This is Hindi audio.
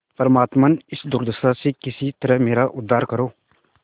परमात्मन इस दुर्दशा से किसी तरह मेरा उद्धार करो